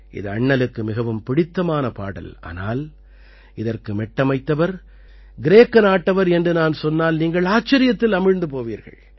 இது அண்ணலுக்கு மிகவும் பிடித்தமான பாடல் ஆனால் இதற்கு மெட்டமைத்தவர் கிரேக்க நாட்டவர் என்று நான் சொன்னால் நீங்கள் ஆச்சரியத்தில் அமிழ்ந்து போவீர்கள்